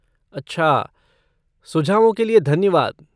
अच्छा, सुझावों के लिए धन्यवाद!